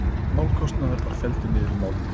Málskostnaður var felldur niður í málinu